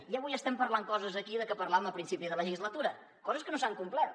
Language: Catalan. i avui estem parlant coses aquí de què parlàvem a principi de legislatura coses que no s’han complert